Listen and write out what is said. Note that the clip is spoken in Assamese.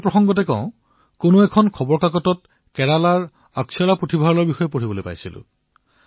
পঢ়াৰ কথা ওলাইছে যেতিয়া তেতিয়া কোনো মিডিয়াত মই কেৰেলাৰ অক্ষৰা পুথিভঁৰালৰ বিষয়ে পঢ়ি আছিলো